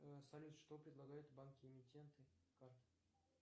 салют что предлагают банки эмитенты карты